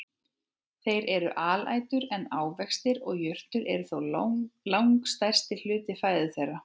Þeir eru alætur en ávextir og jurtir eru þó langstærsti hluti fæðu þeirra.